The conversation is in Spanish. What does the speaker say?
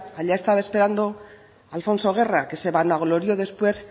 allá estaba esperando alfonso guerra que se vanaglorió después